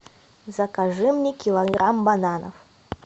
закажи мне килограмм бананов